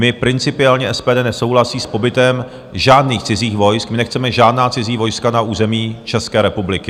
My principiálně - SPD nesouhlasí s pobytem žádných cizích vojsk, my nechceme žádná cizí vojska na území České republiky.